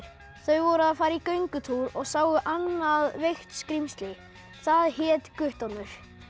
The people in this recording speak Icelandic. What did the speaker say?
þau voru að fara í göngutúr og sáu annað veikt skrímsli það hét Guttormur